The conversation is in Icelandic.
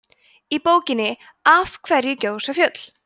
í bókinni af hverju gjósa fjöll